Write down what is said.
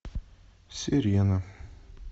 сирена